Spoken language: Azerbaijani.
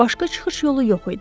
Başqa çıxış yolu yox idi.